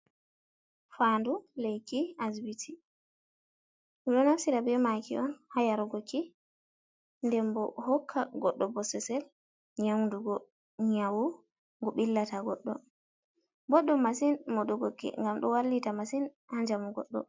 Faandu lekki asbiti ɗo naftira bee maaki on haa yaarugo ki nden bo hokka goɗɗo bosesel nyawndugo nyawu ngu ɓillata goɗɗo, boɗɗum masin modugo ki ngam ɗo wallita masin haa njamu goɗɗo.